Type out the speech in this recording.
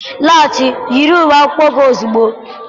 Laghachi, yi uwe ụlọ akwụkwọ gị ozugbo.